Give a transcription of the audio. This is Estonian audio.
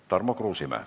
Tarmo Kruusimäe.